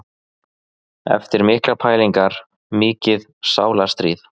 Eftir miklar pælingar, mikið sálarstríð.